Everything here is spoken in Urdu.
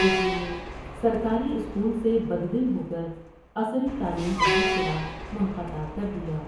اس لیے سرکاری اسکول سے بد دل ہوکر عصری تعلیم کا سلسلہ منقطع کردیا ۔